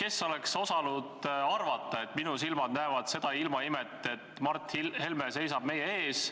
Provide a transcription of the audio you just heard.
Kes oleks osanud arvata, et minu silmad näevad seda ilmaimet, et Mart Helme seisab meie ees